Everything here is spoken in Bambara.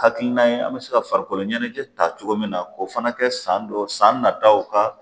Hakilina ye an bɛ se ka farikolo ɲɛnajɛ ta cogo min na k'o fana kɛ san dɔ san nataw ka